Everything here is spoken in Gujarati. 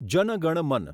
જન ગણ મન